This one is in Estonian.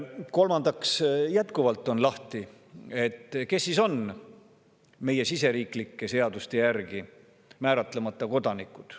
Kolmandaks, jätkuvalt on lahtine, kes siis on meie siseriiklike seaduste järgi määratlemata kodanikud.